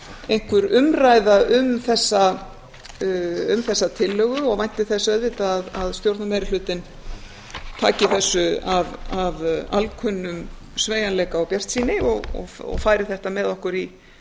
einhver umræða um þessa tillögu og vænti þess auðvitað að stjórnarmeirihlutinn taki þessu af alkunnum sveigjanleika og bjartsýni og færi þetta með okkur